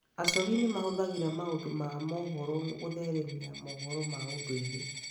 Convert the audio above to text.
Acori nĩ mahũthagĩra maũndũ ma mohoro gũtheremia mohoro ma ũndũire.